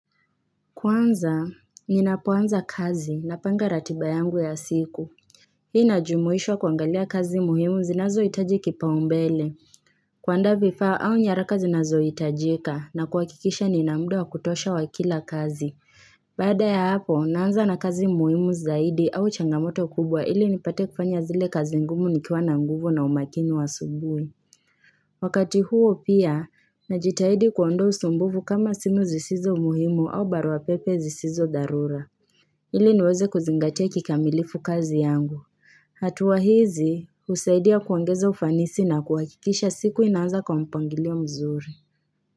Kwanza, ninapoanza kazi napanga ratiba yangu ya siku. Hii inajumuishwa kuangalia kazi muhimu zinazohitaji kipaumbele. Kuandaa vifaa au nyaraka zinazohitajika na kuhakikisha Nina muda wa kutosha wa kila kazi. Baada ya hapo, naanza na kazi muhimu zaidi au changamoto kubwa ili nipate kufanya zile kazi ngumu nikiwa na nguvu na umakini wa asubuhi. Wakati huo pia, najitahidi kuondoa usumbuvu kama simu zisizo muhimu au baruapepe zisizo dharura. Ili niweze kuzingatia kikamilifu kazi yangu. Hatua hizi, husaidia kuongeza ufanisi na kuhakikisha siku inaanza kwa mpangilio mzuri.